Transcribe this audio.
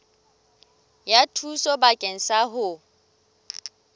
ya thuso bakeng sa ho